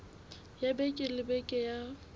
ya beke le beke ya